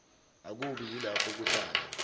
akubi yilapho kuhlala